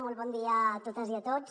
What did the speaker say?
molt bon dia a totes i a tots